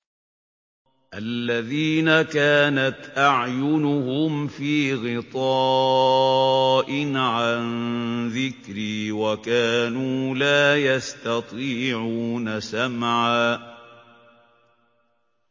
الَّذِينَ كَانَتْ أَعْيُنُهُمْ فِي غِطَاءٍ عَن ذِكْرِي وَكَانُوا لَا يَسْتَطِيعُونَ سَمْعًا